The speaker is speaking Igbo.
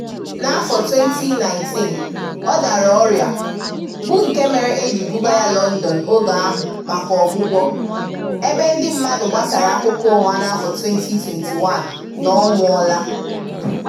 N'afọ 2019, ọ dara ọrịa, bụ nke mere e ji buga ya Lọndọn oge ahụ maka ọgwụgwọ, ebe ndị mmadụ gbasara akụkọ ụgha n'afọ 2021 na ọ nwụọla.